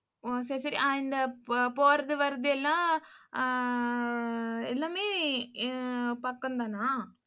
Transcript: ஓ, சரி சரி அந்த போறது வர்றதெல்லாம் ஆஹ் எல்லாமே ஹம் பக்கம்தானா?